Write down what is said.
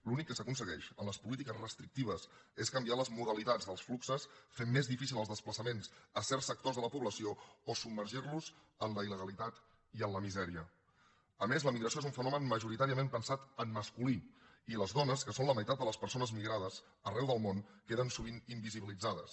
l’únic que s’aconsegueix amb les polítiques restrictives és canviar les modalitats dels fluxos fent més difícils els desplaçaments a certs sectors de la població o submergir los en la il·a més la migració és un fenomen majoritàriament pensat en masculí i les dones que són la meitat de les persones migrades arreu del món queden sovint invisibilitzades